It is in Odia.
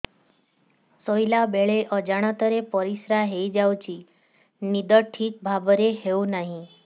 ଶୋଇଲା ବେଳେ ଅଜାଣତରେ ପରିସ୍ରା ହୋଇଯାଉଛି ନିଦ ଠିକ ଭାବରେ ହେଉ ନାହିଁ